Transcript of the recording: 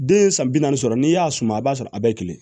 Den ye san bi naani sɔrɔ n'i y'a suma i b'a sɔrɔ a bɛɛ kelen